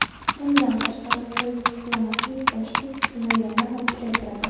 Bundan tashqari, to‘yib uxlamaslik ochlik hissini yana ham kuchaytiradi.